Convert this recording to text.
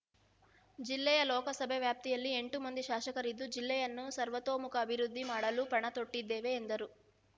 ಜಿಲ್ಲೆಯ ಲೋಕಸಭೆ ವ್ಯಾಪ್ತಿಯಲ್ಲಿ ಎಂಟು ಮಂದಿ ಶಾಸಕರಿದ್ದು ಜಿಲ್ಲೆಯನ್ನು ಸರ್ವತೋಮುಖ ಅಭಿವೃದ್ಧಿ ಮಾಡಲು ಪಣ ತೊಟ್ಟಿದ್ದೇವೆ ಎಂದರು